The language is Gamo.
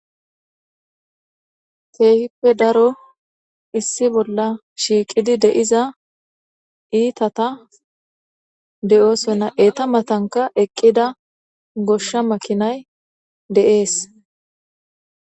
teehippe daro issi bolla shiiqidi deiza iitata de7oosonna eeta matanka eqqida goshsha makinay deees